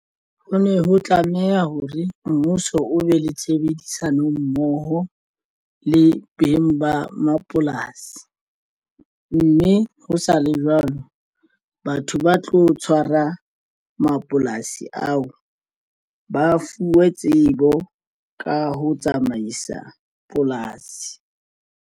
Ho ne ho tlameha hore mmuso o be le tshebedisano mmoho le beng ba mapolasi, mme ho sa le jwalo batho ba tlo tshwara mapolasi ao ba fuwe tsebo ka ho tsamaisa polasi.